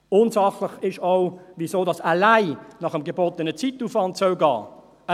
Unsachlich ist auch, weshalb das allein nach dem gebotenen Zeitaufwand gehen soll.